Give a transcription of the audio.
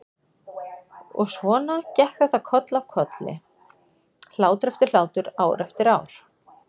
Og svona gekk þetta koll af kolli, hlátur eftir hlátur, ár eftir ár.